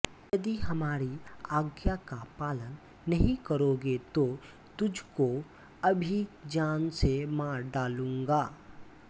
यदि हमारी आज्ञा का पालन नहीं करोगे तो तुझ को अभी जान से मार डालूंगा